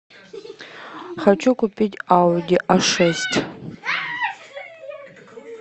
хочу купить ауди а шесть